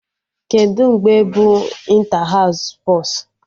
Kedụ mgbe bụ ịnta haụs spọs?